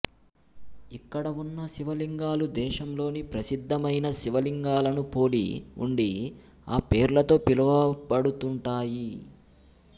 ఇక్కడ ఉన్న శివలింగాలు దేశంలోని ప్రసిద్ధమైన శివలింగాలను పోలి ఉండి ఆ పేర్లతో పిలువబడుతుంటాయి